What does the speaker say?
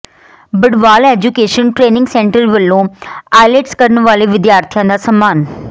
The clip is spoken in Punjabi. ਬਡਵਾਲ ਐਜੂਕੇਸ਼ਨ ਟਰੇਨਿੰਗ ਸੈਂਟਰ ਵੱਲੋਂ ਆਈਲੈਟਸ ਕਰਨ ਵਾਲੇ ਵਿਦਿਆਰਥੀਆਂ ਦਾ ਸਨਮਾਨ